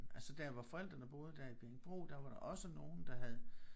Altså der hvor forældrene boede der i Bjerringbro der var der også nogen der havde